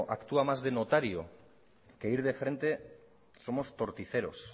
actúa más de notario que ir de frente somos torticeros